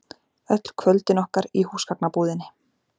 Öll kvöldin okkar í húsgagnabúðinni.